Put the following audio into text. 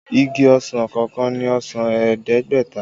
Igi ọsàn kọọkan ní ọsàn ẹ̀ẹ́dẹ́gbẹ̀ta